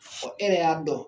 Fɔ e yɛrɛ y'a dɔn